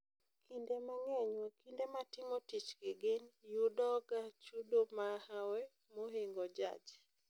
kinde mangeny wakinde matimo tich kigin yudooga chudo mahwe mohingo jaj